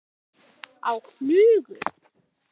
Á flugu?